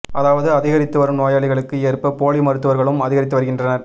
அதாவது அதிகரித்து வரும் நோயாளிகளுக்கு ஏற்ப போலி மருத்துவர்களும் அதிகரித்து வருகின்றனர்